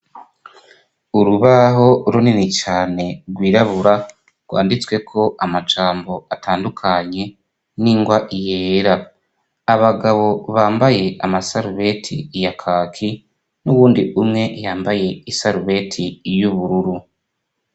Urubaho runini cane rwirabura rwanditswe ko amajambo atandukanye n'ingwa yera abagabo bambaye amasarubeti ya kaki n'uwundi umwe yambaye isarubeti y'ubururu.